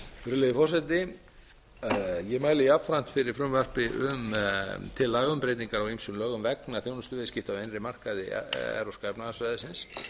virðulegi forseti ég mæli jafnframt fyrir frumvarpi til laga um breytingu á ýmsum lögum vegna þjónustuviðskipta á innri markaði evrópska efnahagssvæðisins